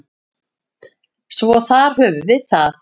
Svo þar höfum við það.